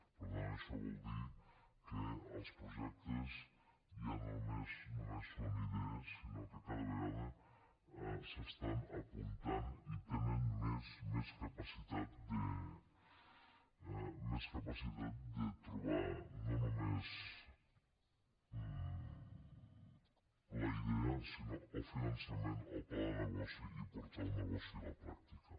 per tant això vol dir que els projectes ja no només són idees sinó que cada vegada s’estan apuntant i tenen més capacitat de trobar no només la idea sinó el finançament el pla de negoci i portar el negoci a la pràctica